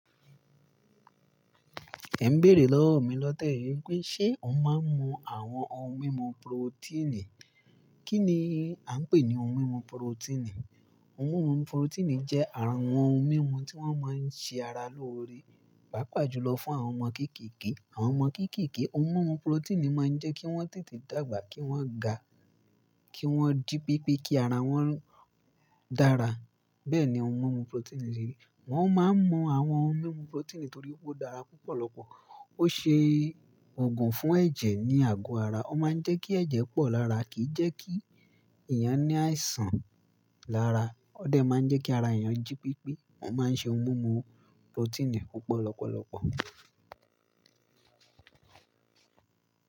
Ẹ ń bèèrè lọ́wọ́ mi lọ́tẹ̀ yìí pé ṣe ò ń mu awon ohun mímu protein? Kí ni a ń pè ní ohun mímu protein? Ohun mímu protein jẹ́ àwon ohun mímu tí wọ́n máa ń ṣe ara lóore, pàápàá jùlọ fún àwọn ọmọ kéékèèké. Àwọn ọmọ kéékèèké, ohun mímu protein máa ń jẹ́ kí wọ́n tètè dàgbà, kí wọ́n ga, kí wọ́n jí pípé, kí ara wọ́n dára. Bẹ́ẹ̀ ni ohun mímu protein lè rí. Wọ́n máa ń mú àwọn ohun mímu protein torí ó dára púpọ̀ lọ́pọ̀. Ó ṣe ògùn fún ẹ̀jẹ̀ ní àgọ́ ara. Ó máa ń jẹ́ kí ẹ̀jẹ̀ pọ̀ lára, kì í jẹ́ kí èèyàn ní àisàn lára. Ó dẹ̀ máa ń jẹ́ kí ara èèyàn jí pípé. Wọ́n máa ń ṣe ohun mímu protein púpọ̀ lọ́pọ̀lọpọ̀.